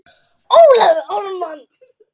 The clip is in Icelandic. Ólafur Ármann.